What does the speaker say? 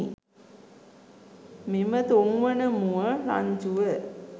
මෙම තුන්වන මුව රංචුව